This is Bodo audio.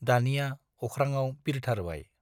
दानिया अख्राङाव बिरथारबाय ।